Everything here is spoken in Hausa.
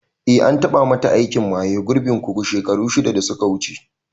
Eh, an tabamata aikin maye gurbin kugu shekaru shida da suka wuce.